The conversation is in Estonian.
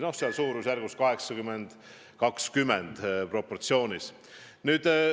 Noh, suurusjärgus on see proportsioon 80 : 20.